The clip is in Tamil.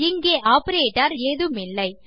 இங்கே ஆப்பரேட்டர் ஏதுமில்லை